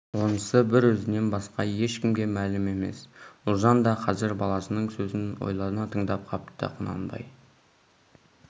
онысы бір өзінен басқа ешкімге мәлім емес ұлжан да қазір баласының сөзін ойлана тыңдап қапты құнанбай